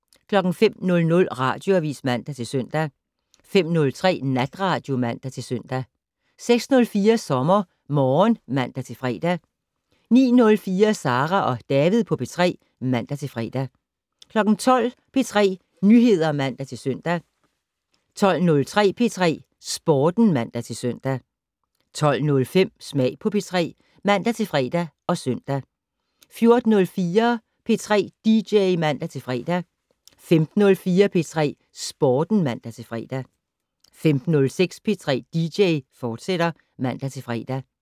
05:00: Radioavis (man-søn) 05:03: Natradio (man-søn) 06:04: SommerMorgen (man-fre) 09:04: Sara og David på P3 (man-fre) 12:00: P3 Nyheder (man-søn) 12:03: P3 Sporten (man-søn) 12:05: Smag på P3 (man-fre og søn) 14:04: P3 dj (man-fre) 15:04: P3 Sporten (man-fre) 15:06: P3 dj, fortsat (man-fre)